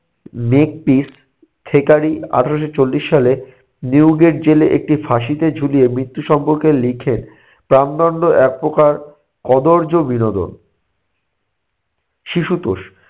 আঠেরোশো চল্লিশ সালে নিউগের জেলে একটি ফাঁসিতে ঝুলিয়ে মৃত্যু সম্পর্কে লিখেন, প্রাণদণ্ড একপ্রকার কদর্য বিনোদন। শিশুতোষ -